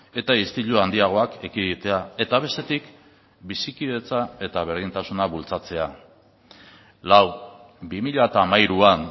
eta istilu handiagoak ekiditea eta bestetik bizikidetza eta berdintasuna bultzatzea lau bi mila hamairuan